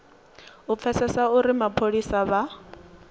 u pfesesa uri mapholisa vha